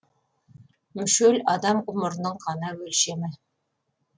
мүшел адам ғұмырының ғана өлшемі